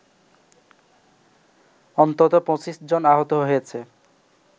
অন্তত ২৫ জন আহত হয়েছে